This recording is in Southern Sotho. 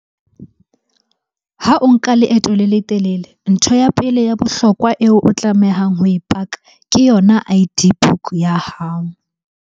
Ha o nka leeto le letelele, ntho ya pele ya bohlokwa eo o tlamehang ho e paka ke yona I_D book ya hao.